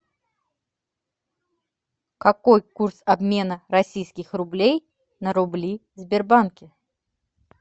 какой курс обмена российских рублей на рубли в сбербанке